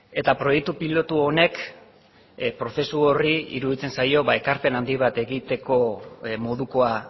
eta proiektu pilotu honek prozesu horri iruditzen zaio ekarpen handi bat egiteko modukoa